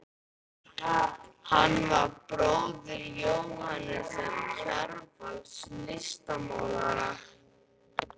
Hann var bróðir Jóhannesar Kjarvals, listmálara.